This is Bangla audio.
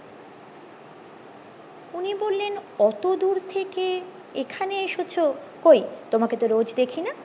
উনি বললেন অতদূর থেকে এখানে এসেছো কই তোমাকে তো রোজ দেখিনা